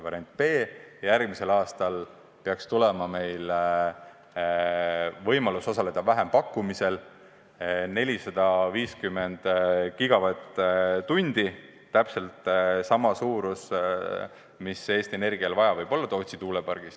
Variant B on, et järgmisel aastal peaks avanema võimalus osaleda vähempakkumisel – 450 GWh, täpselt sama maht, mida Eesti Energia võib-olla vajab Tootsi tuulepargist.